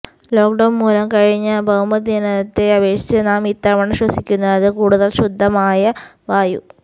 lockdown മൂലം കഴിഞ്ഞ ഭൌമദിനത്തെ അപേക്ഷിച്ച് നാം ഇത്തവണ ശ്വസിക്കുന്നത് കൂടുതൽ ശുദ്ധമായ വായു